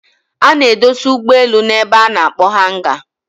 A n'edosa ụgbọ elu na ebe a n'akpọ hanga